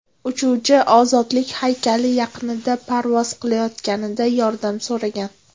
Uchuvchi Ozodlik haykali yaqinida parvoz qilayotganida yordam so‘ragan.